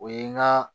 O ye n ga